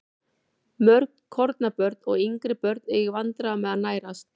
Mörg kornabörn og yngri börn eiga í vandræðum með að nærast.